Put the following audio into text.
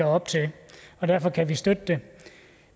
op til og derfor kan vi støtte det